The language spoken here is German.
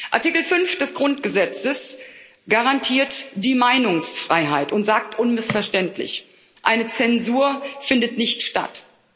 Artikel 5 des Grundgesetzes garantiert die Meinungsfreiheit und sagt unmissverständlich Eine Zensur findet nicht statt.